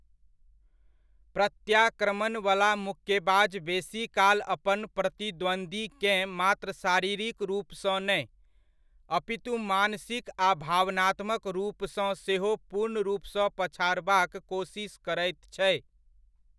प्रत्याक्रमणवला मुक्केबाज बेसीकाल अपन प्रतिद्वंद्वीकेँ मात्र शारीरिक रूपसँ नहि, अपितु मानसिक आ भावनात्मक रूपसँ सेहो पूर्ण रूपसँ पछाड़बाक कोसिस करैत छै।